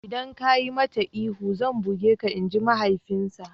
Idan ka yi mata ihu zan buge ka''! Inji mahaifinsa.